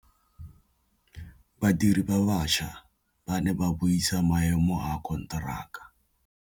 Badiri ba baša ba ne ba buisa maêmô a konteraka.